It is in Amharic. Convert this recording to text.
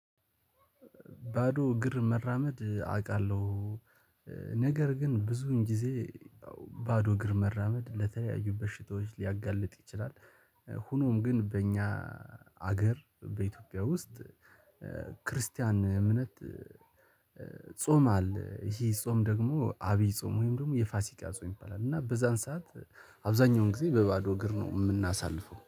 ባዶ እግር መራመድ አውቃለሁ። ነገር ግን ብዙን ጊዜ ያው ባዶ እግር መራመድ ለተለያዩ በሽታዎች ሊያጋልጥ ይችላል። ሆኖም ግን በእኛ ሀገር በኢትዮጵያ ውስጥ ክርስቲያን እምነት ጾም አለ። ይሄ ጾም ደግሞ አብይ ጾም ወይም ደግሞ የፋሲካ ጾም ይባላል። እና በዛን ሰዓት አብዛኛውን ጊዜ በባዶ እግር ነው የምናሳልፈው